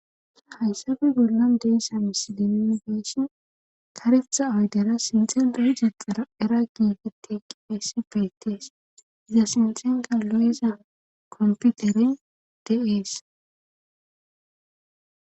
hayssabe gollon deessa mis din deesshin kareftha oydera sinxen deh jexara eraakige teeqqifayss peytees dasnoxenka lo7ezan komputere de7ees